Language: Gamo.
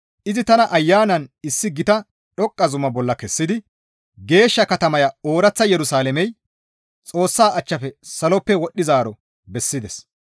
Izi tana Ayanan issi gita dhoqqa zuma bolla kessidi geeshsha katamaya ooraththa Yerusalaamey Xoossa achchafe saloppe wodhdhizaaro bessides.